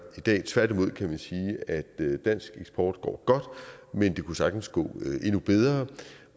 i dag tværtimod kan man sige at dansk eksport går godt men det kunne sagtens gå endnu bedre